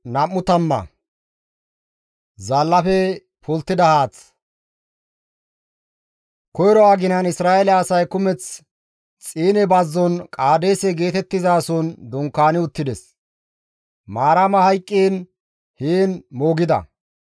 Koyro aginan Isra7eele asay kumeth Xiine bazzon Qaadeese geetettizason dunkaani uttides; Maarama hayqqiin heen moogida.